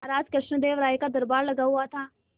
महाराज कृष्णदेव राय का दरबार लगा हुआ था